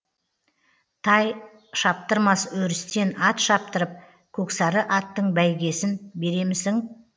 тай шаптырмас өрістен ат шаптырып көксары аттың бәйгесін беремісің